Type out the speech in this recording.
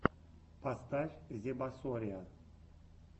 поставь зебасориа